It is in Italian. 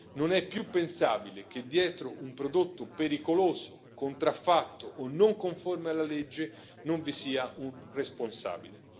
Non è più pensabile che, dietro un prodotto pericoloso, contraffatto o non conforme alla legge, non vi sia un responsabile.